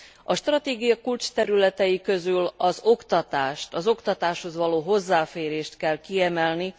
A stratégia kulcsterületei közül az oktatást, az oktatáshoz való hozzáférést kell kiemelni.